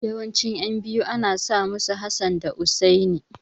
Yawancin ƴan biyu ana sa musu Hassan da Hussaini.